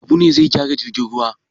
Habu ne zai gyara jirgin ruwa.